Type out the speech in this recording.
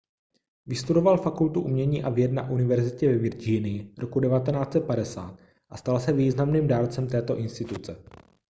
vystudoval fakultu umění a věd na univerzitě ve virginii roku 1950 a stal se významným dárcem této instituce